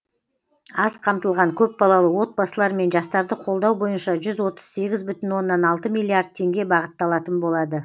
аз қамтылған көпбалалы отбасылар мен жастарды қолдау бойынша жүз отыз сегіз бүтін оннан алты миллиард теңге бағытталатын болады